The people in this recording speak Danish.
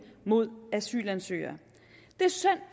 mod asylansøgere det er synd